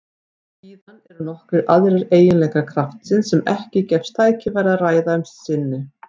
Síðan eru nokkrir aðrir eiginleikar kraftsins sem ekki gefst tækifæri að ræða um að sinni.